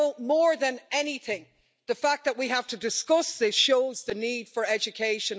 More than anything, the fact that we have to discuss this shows the need for education.